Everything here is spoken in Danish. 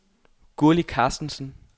Gurli Carstensen